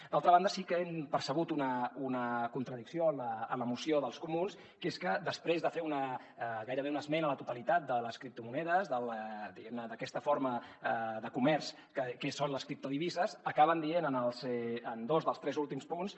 d’altra banda sí que hem percebut una contradicció en la moció dels comuns que és que després de fer gairebé una esmena a la totalitat de les criptomonedes diguem ne d’aquesta forma de comerç que són les criptodivises acaben dient en dos dels tres últims punts